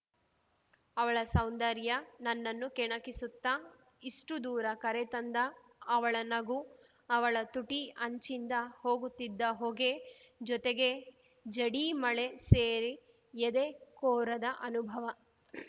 ಅವಳ ಸೌಂದರ್ಯ ನನ್ನನ್ನು ಕೆಣಕಿಸುತ್ತಾ ಇಷ್ಟುದೂರ ಕರೆ ತಂದ ಅವಳ ನಗು ಅವಳ ತುಟಿ ಅಂಚಿಂದ ಹೋಗುತ್ತಿದ್ದ ಹೊಗೆ ಜೊತೆಗೆ ಜಡಿ ಮಳೆ ಸೇರಿ ಎದೆ ಕೊರೆದ ಅನುಭವ